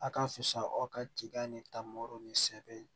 A ka fisa aw ka kiia ni ta ma ni sɛ bɛ yen